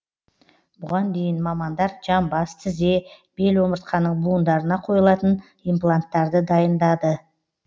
бұған дейін мамандар жамбас тізе бел омыртқаның буындарына қойылатын импланттарды дайындады